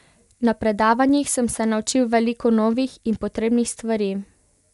Na predavanjih sem se naučil veliko novih in potrebnih stvari.